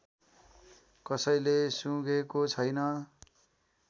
कसैले सुँघेको छैन